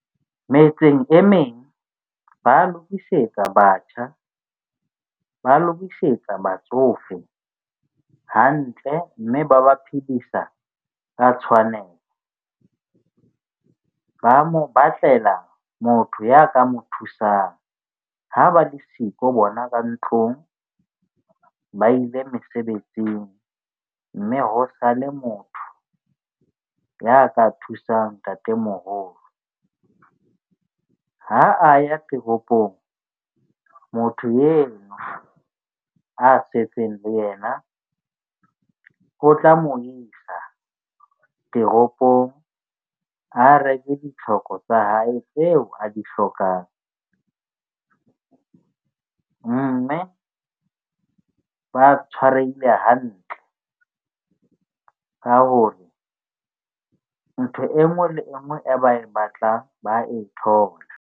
Metseng e meng ba lokisetsa batjha, ba lokisetsa batsofe hantle mme ba ba phedisa ka tshwanelo, ba mo batlela motho ya ka mo thusang ha ba le siko bona ba ntlong. Ba ile mesebetsing mme ho sale motho ya ka thusang ntatemoholo. Ha a ya teropong, motho eno a setseng le yena o tla mo isa teropong, a reke ditlhoko tsa hae tseo a di hlokang. Mme ba tshwarehile hantle ka hore ntho enngwe le enngwe e ba e batlang, ba e thola.